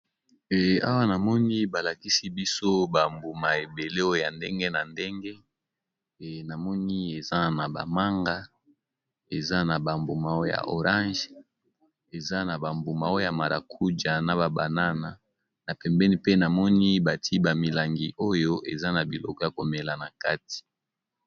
Awa namoni balakisi biso bambuma ebele oya ndenge na ndenge, namoni eza na ba manga eza na bambuma ya orange, eza na bambuma o ya marakuja na babanana, na pembeni pe namoni bati bamilangi oyo eza na biloko ya komela na kati.